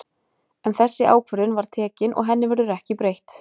En þessi ákvörðun var tekin og henni verður ekki breytt.